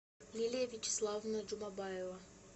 лилия вячеславовна джумабаева